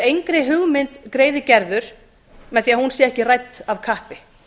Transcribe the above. engri hugmynd er greiði gerður með því hún sé ekki rædd af kappi